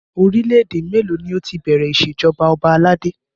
Orílẹ̀ èdè mélòó ni ó ti bẹ̀rẹ̀ ìṣèjọba ọba aládé?